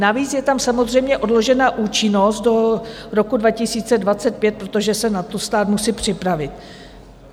Navíc je tam samozřejmě odložená účinnost do roku 2025, protože se na to stát musí připravit.